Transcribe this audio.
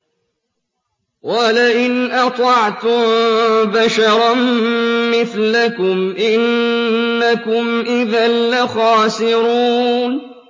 وَلَئِنْ أَطَعْتُم بَشَرًا مِّثْلَكُمْ إِنَّكُمْ إِذًا لَّخَاسِرُونَ